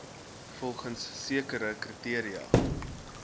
volgens sekere kriteria